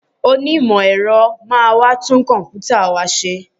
Onímọ̀ ẹ̀rọ máa wá tún kọ̀m̀pútà wa ṣe